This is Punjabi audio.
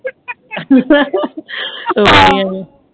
ਆਹੋ